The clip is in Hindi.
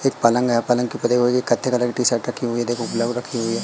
एक पलंग है पलंग के ऊपर कत्थे कलर की टी शर्ट रखी हुई देखो ब्लैक रखी हुई है।